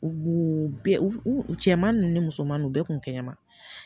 U b'u bɛɛ u cɛman nu ni musoman u bɛɛ kun kɛnɛma